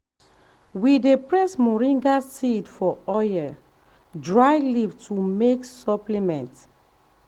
we dey press moringa seed for oil dry leaf to make um supplement